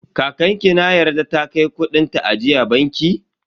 Kakan ki na yarda ta kai kudin ta ajiya banki?